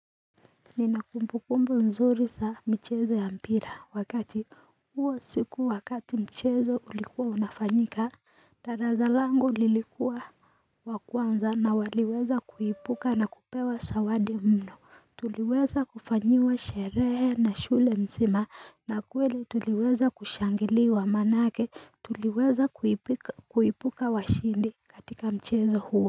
Nina kumbu kumbu nzuri saa mchezo ya mpira wakati huwa siku wakati mchezo ulikuwa unafanyika daraza lango lilikuwa wa kwanza na waliweza kuipuka na kupewa sawade mno Tuliweza kufanyiwa sherehe na shule msima na kwele tuliweza kushangiliwa manake tuliweza kuipuka washindi katika mchezo huwa.